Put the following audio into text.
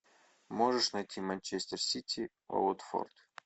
можешь найти манчестер сити уотфорд